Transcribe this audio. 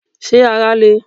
Ṣé ara le?